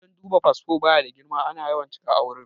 Wajen duba fasfo baya da girma, ana yawan cika a wurin